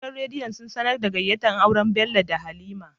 Gidan rediyo sun sAnar da gayyata auren Bello da halima